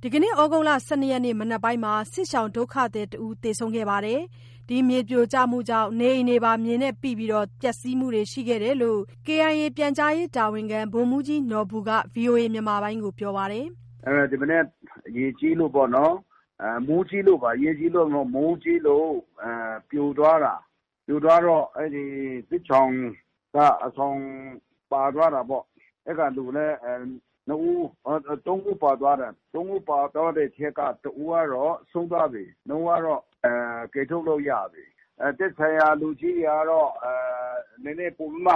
သြဂုတ် ၁၂ ရက်နေ့ မနက်ပိုင်းမှာ စစ်ရှောင်ဒုက္ခသည်တဦးသေဆုံးပြီး နေအိမ်မြေပိပျက်စီးမှုတွေရှိတယ်လို့ KIA ပြန်ကြားရေးတာဝန်ခံ ဗိုလ်မှူးကြီး နော်ဘူက ဗွီအိုအေကို ပြောပါတယ်။ “ဒီမနက် ရေကြီးလို့ပေါ့နော်၊ မိုးကြီးလို့ပါ ရေကြီးလို့မဟုတ်ဘူး။ မိုးကြီးလို့ ပြိုသွားတာ ပြိုသွားတော့ အဲ့ဒီစစ်ရှောင်က အဆောင်ပါသွားတာပေ့ါ.. အဲ့ဒီကလူလည်း သုံးဦးပါသွားတယ်။ သုံးဦးပါသွားတဲ့အထဲက တဦးကတော့ ဆုံးသွားပြီး နှစ်ဦးကတော့ ကယ်ထုတ်လို့ရပြီး သက်ဆိုင်ရာလူကြီးတွေကတော့ နည်းနည်းပိုပြီးမှ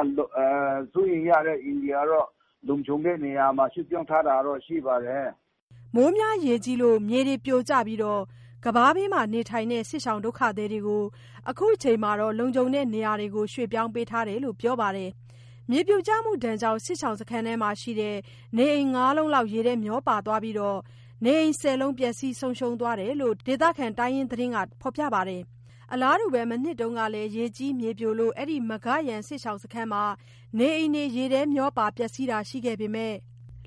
စိုးရိမ်ရတဲ့ အိမ်ကတော့ လုံခြုံတဲ့နေရာမှာ ရွှေ့ပြောင်းထားတာတော့ ရှိပါတယ်။” မိုးကြီးရွာပြီး မြေပြိုကျလို့ ကမ်းပါးဘေးနား နေထိုင်တဲ့ စစ်ရှောင်ဒုက္ခသည်တွေကို လက်ရှိအချိန်မှာ လုံခြုံတဲ့နေရာ ရွှေ့ပြောင်းထားတယ်လို့ ပြောပါတယ်။ မြေပြိုမှုကြောင့် စစ်ရှောင်းစခန်းအတွင်း နေအိမ် ၅ လုံး ရေထဲမျောပါသွားပြီး ၁၀ လုံး ပျက်စီးဆုံးရှုံးသွားတယ်လို့ ဒေသခံ တိုင်းရင်းသားသတင်းက ဖော်ပြထားပါတယ်။ အလားတူ မနှစ်တုန်းကလည်း ရေကြီးမြေပြိုလို့ အဲ့ဒီ မဂါ့ယန်စစ်ရှောင်စခန်းမှာ နေအိမ်တွေ ရေထဲမျောပါ ပျက်စီးတာတွေရှိခဲ့ပေမဲ့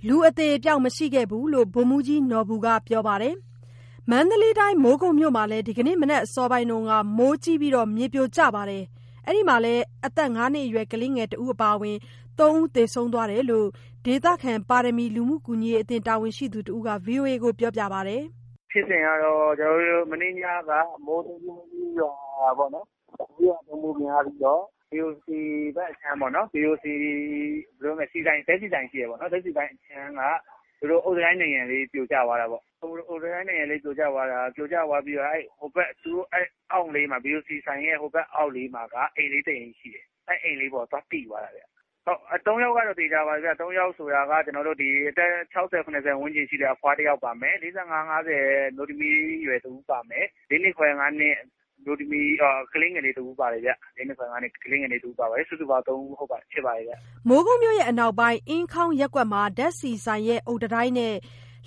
လူအသေအပျောက်မရှိခဲ့ဘူးလို့ ဗိုလ်မှူးကြီးနော်ဘူက ပြောပါတယ်။ မန္တလေးတိုင်း မိုးကုတ်မြို့မှာလည်း ဒီကနေ့ မနက်အစောပိုင်းက မိုးကြီးပြီး မြေပြိုတာကြောင့် အသက် ၅ နှစ်အရွယ် ကလေးတဦးအပါအဝင် သုံးဦး သေဆုံးသွားတယ်လို့ ဒေသခံ ပါရမီလူမှုကူညီရေးအသင်း တာဝန်ရှိသူတဦးက ဗွီအိုအေကို ပြောပါတယ်။ “ဖြစ်စဉ်ကတော့ ကျနော်တု့ိ မနေ့ညက မိုးကြီးသဲကြီးရွာတယ်ပေ့ါနော်၊ မိုးရွာသွန်းမှုများပြီးတော့ BOC ဘက်အခြမ်းပေါ့နော် BOC ဆီဆိုင် ဓာတ်ဆီဆိုင်ရှိတယ်ပေ့ါနော် ဓာတ်ဆီဆိုင်အခြမ်းက သူတို့အုတ်တံတိုင်း နံရံလေး ပြိုကျသွားတာပေ့ါ၊ အုတ်တံတိုင်းနံရံလေးပြိုကျသွားပြီးတော့ အဲ့ဒီဟိုဘက် သူတို့အောက်လေး BOC ဆိုင်ရဲ့ ဟိုဘက်အောက်လေးမှာက အိမ်လေးတစ်အိမ်ရှိတယ်။ အဲ့ဒီအိမ်လေးအပေါ်သွားပိသွားတယ်။ ဟုတ်(သေဆုံး) သုံးယောက်ကတော့ သေချာပါတယ်ဗျ၊ သုံးယောက်ဆိုတာက အသက် ၆၀၊ ၇၀ ဝန်းကျင်ရှိတဲ့ အဖွားတယောက်ပါမယ်။ အသက် ၄၅၊ ၅၀ အမျိုးသမီးအရွယ်ပါမယ်၊ ၄ နှစ်ခွဲ ၅ နှစ် ကလေးငယ်လေးတစ်ဦးပါတယ်ဗျ၊ စုစုပေါင်းသုံးဖြစ်ပါတယ်ဗျ။” မိုးကုတ်မြို့အနောက်ပိုင်း အင်းခေါင်းရပ်ကွက်မှာ ဓာတ်ဆီဆိုင်ရဲ့ အုတ်တံတိုင်းနဲ့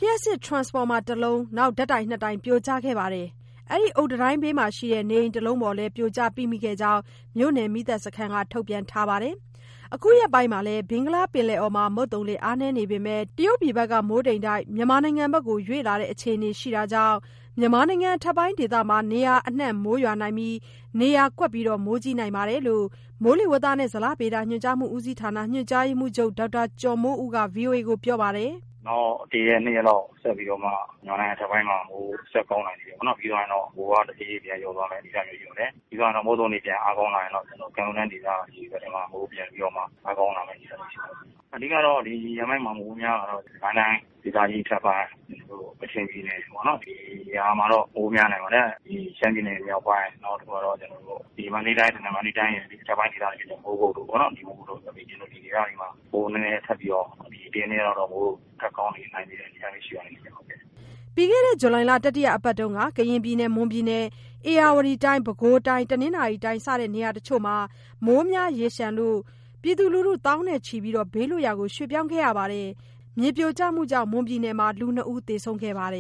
လျှပ်စစ်ထရန်စဖော်မာတလုံး၊ ဓာတ်တိုင်နှစ်တိုင်ပြိုကျခဲ့ပါတယ်။ အဲ့ဒီ အုတ်တံတိုင်းဘေးမှာရှိတဲ့ နေအိမ်တစ်လုံးပေါ် ပြိုကျပိမိခဲ့ကြောင်း မြို့နယ်မီးသတ်စခန်းက ထုတ်ပြန်ထားပါတယ်။ အခုရက်ပိုင်း ဘင်္ဂလားပင်လယ်အော်မှာ မုတ်သုံးလေ အားနည်းနေပေမဲ့ တရုတ်ပြည်ဘက်က မိုးတိမ်တိုက် မြန်မာနိုင်ငံဘက်ကို ရွေ့လာတဲ့ အခြေအနေရှိတာကြေင့် မြန်မာနိုင်ငံအထက်ပိုင်းဒေသ နေရာအနှံ့မိုးရွာနိုင်ပြီး နေရာကွက်မိုးကြီးနိုင်ကြောင်း မိုးလေဝသနဲ့ ဇလဗေဒညွှန်ကြားမှုဦးစီးဌာန ညွှန်ကြားရေးမှူးချုပ် ဒေါက်တာကျော်မိုးဦးက ပြောပါတယ်။ “နောက်တစ်ရက် နှစ်ရက်လောက်ဆက်ပြီးတော့မှာ မြန်မာနိုင်ငံအထက်ပိုင်းမှာ မိုးဆက်ကောင်း နိုင်တယ်ပေါ့နော် ပြီးသွားရင်တော့ မိုးက တဖြေးဖြေးပြန်လျော့သွားမယ့်အနေအထားမျိုးရှိပါတယ်။ အဓိက မုတ်သုံလေပြန်အားကောင်းရင်တော့ ကမ်းရိုးတန်းဒေသတွေမှာ မိုးပြန်ပြီးတော့မှ အားကောင်းလာမယ့်အနေအထားမျိုးရှိပါတယ်။ အဓိကတော့ ဒီရက်ပိုင်းမှာမိုးများတာတော့ စစ်ကိုင်းတိုင်းဒေသကြီး အထက်ပိုင်းတို့ ကချင်ပြည်နယ်တွေပေါ့နော်... ဒီနေရာမှာတော့ မိုးများနိုင်ပါတယ်။ ဒီရှမ်းပြည်နယ်မြောက်ပိုင်း နောက်တခုမှာတော့ ကျနော်တို့ ဒီမန္တလေးတိုင်းဒေသကြီးက မန္တလေးတိုင်းခဲ ဒီအထက်ပိုင်းဒေသတွေ မိုးကုတ်တို့ပေါ့နော်.. ဒီမိုးကုတ်တို့ ဒီဒေသတွေမှာ မိုးနည်းနည်းထပ်ပြီးတော့ ဒီတစ်ရက်နှစ်ရက်လောက်တော့ မိုးထက်ကောင်းနေနိုင်တဲ့ အနေအထားမျိုးရှိပါတယ်ခင်ဗျ။” ပြီးခဲ့တဲ့ ဇူလိုင်လ တတိယအပတ်မှာ ကရင်ပြည်နယ်၊ မွန်ပြည်နယ်၊ ဧရာဝတီတိုင်း၊ ပဲခူးတိုင်း၊ တနင်္သာရီတိုင်းတို့ နေရာတချို့မှာ မိုးကြီးရေလျှံလို့ ပြည်သူ သောင်းနဲ့ချီ ဘေးလွတ်ရာ ရွှေ့ပြောင်းရပါတယ်။ မြေပြိုမှုကြောင့် မွန်ပြည်နယ်မှာ လူနှစ်ဦး သေဆုံးခဲ့ပါတယ်